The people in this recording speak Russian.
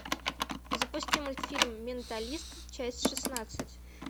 запусти мультфильм менталист часть шестнадцать